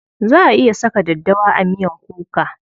Za a iya saka daddawa a miyan kuka.